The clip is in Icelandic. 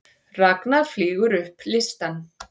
Ragna flýgur upp listann